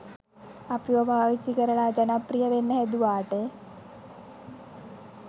අපිව පාවිච්චි කරලා ජනප්‍රිය වෙන්න හැදුවාට